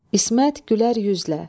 İsmət gülər üzlə.